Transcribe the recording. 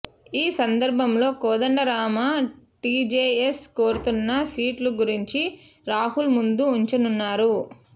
ఈ సందర్భంలో కోదండరాం టీజేఎస్ కోరుతున్న సీట్ల గురించి రాహుల్ ముందు ఉంచనున్నారు